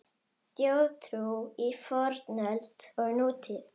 Þjóðtrú í fornöld og nútíð